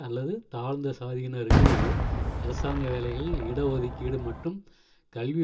அல்லது தாழ்ந்த சாதியினருக்கு அரசாங்க வேலைகளில் இட ஒதுக்கீடு மற்றும் கல்வி